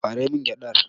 Ɓare min gyaɗar!